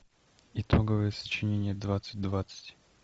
итоговое сочинение двадцать двадцать